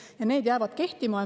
Ja see jääb kehtima.